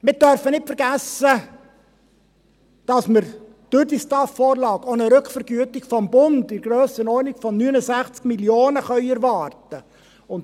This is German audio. Wir dürfen nicht vergessen, dass wir durch die STAF-Vorlage auch eine Rückvergütung des Bundes in der Grössenordnung von 69 Mio. Franken erwarten können.